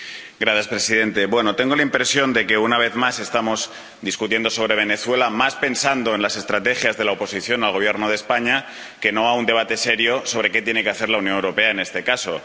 Señor presidente, tengo la impresión de que, una vez más, estamos discutiendo sobre Venezuela pensando más en las estrategias de la oposición al Gobierno de España que en un debate serio sobre qué tiene que hacer la Unión Europea en este caso.